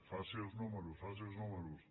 faci els números faci els números